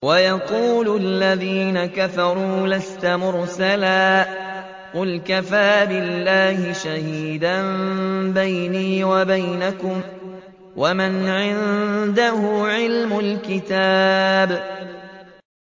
وَيَقُولُ الَّذِينَ كَفَرُوا لَسْتَ مُرْسَلًا ۚ قُلْ كَفَىٰ بِاللَّهِ شَهِيدًا بَيْنِي وَبَيْنَكُمْ وَمَنْ عِندَهُ عِلْمُ الْكِتَابِ